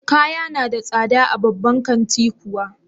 Kaya na da tsada a babban kanti kuwa?